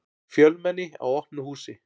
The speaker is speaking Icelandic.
Fjölmenni á opnu húsi